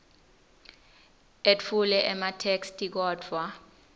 etfule ematheksthi kodvwa